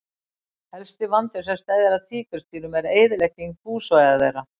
Helsti vandinn sem steðjar að tígrisdýrum er eyðilegging búsvæða þeirra.